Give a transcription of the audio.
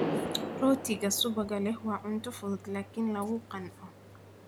Rootiga subagga leh waa cunto fudud laakiin lagu qanco.